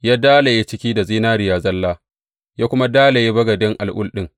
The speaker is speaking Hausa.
Ya dalaye cikin da zinariya zalla, ya kuma dalaye bagade al’ul ɗin.